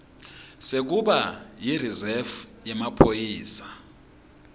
sekuba yirizefu yemaphoyisa